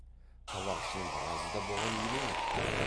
табақшының біразы да бұған елең етті